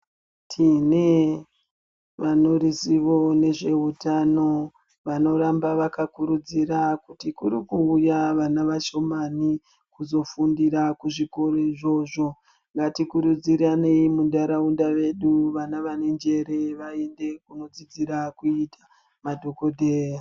Tine vaneruzivo nezveutano vanoramba vakakurudzira kuti kuri kuuya vana vashomani kuzofundira kuzvikoro izvozvo, ngatikurudzirane muntaraunda vedu vana vane njere vaende kunodzidzira kuita madhokodheya.